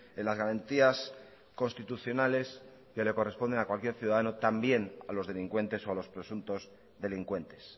en las garantías constitucionales que le corresponden a cualquier ciudadano también a los delincuentes o a los presuntos delincuentes